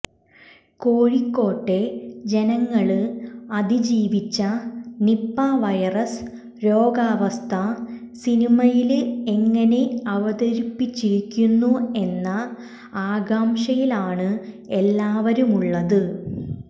കോഴിക്കോട്ടെ ജനങ്ങള് അതീജിവിച്ച നിപ്പ വൈറസ് രോഗാവസ്ഥ സിനിമയില് എങ്ങനെ അവതരിപ്പിച്ചിരിക്കുന്നു എന്ന ആകാംക്ഷയിലാണ് എല്ലാവരുമുളളത്